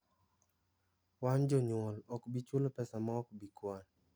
"Wan( jonuol) ok bi chulo pesa mo okbi kwan.